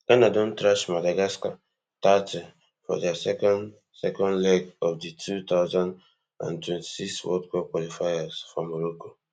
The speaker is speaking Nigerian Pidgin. ghana don thrash madagascar thirty for dia second second leg of di two thousand and twenty-six world cup qualifiers for morocco